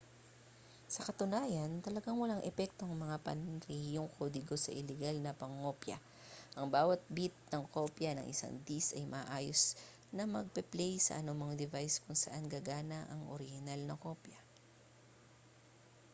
sa katunayan talagang walang epekto ang mga panrehiyong kodigo sa ilegal na pangongopya ang bawat bit ng kopya ng isang disk ay maayos na magpe-play sa anumang device kung saan gagana ang orihinal na kopya